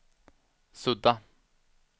sudda